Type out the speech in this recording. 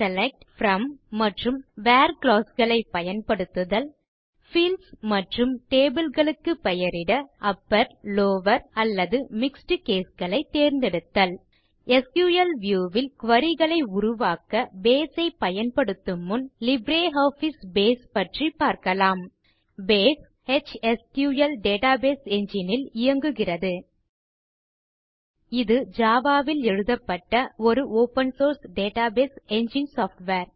select from மற்றும் where clause களை பயன்படுத்துதல் பீல்ட்ஸ் மற்றும் டேபிள் களுக்கு பெயரிட அப்பர் லவர் அல்லது மிக்ஸ்ட் கேஸ் களை தேர்ந்தெடுத்தல் பேஸ் எச்எஸ்க்யூஎல் டேட்டாபேஸ் என்ஜின் ல் இயங்குகிறது இது ஜாவா வில் எழுதப்பட்ட ஒரு open source database engine software